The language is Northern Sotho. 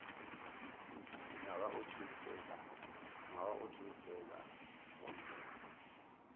ngwaga o tee fela gomme